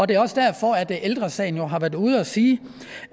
det er også derfor ældre sagen jo har været ude og sige